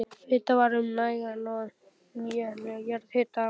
Vitað var um nægan og nýtanlegan jarðhita á